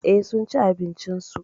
Eh, sunci abincin su.